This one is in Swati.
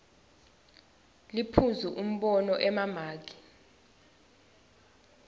liphuzu umbono emamaki